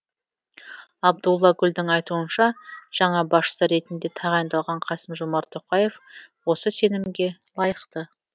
абдулла гүлдің айтуынша жаңа басшы ретінде тағайындалған қасым жомарт тоқаев осы сенімге лайықты